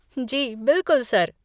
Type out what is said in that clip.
जी बिल्कुल, सर।